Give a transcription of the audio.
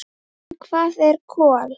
En hvað eru kol?